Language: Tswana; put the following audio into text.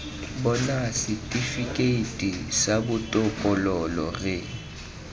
bona setifikeiti sa botokololo re